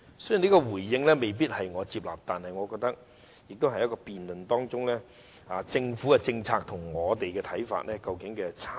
雖然這個回應我未必接納，但我們可以在辯論中看到政府的政策與我們的看法有何差異。